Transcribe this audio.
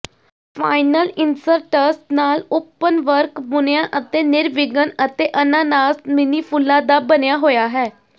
final inserts ਨਾਲ openwork ਬੁਣਿਆ ਅਤੇ ਨਿਰਵਿਘਨ ਅਤੇ ਅਨਾਨਾਸ ਮਿੰਨੀ ਫੁੱਲਾਂ ਦਾ ਬਣਿਆ ਹੋਇਆ ਹੈ